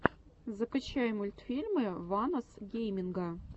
закачай мультфильмы ванос гейминга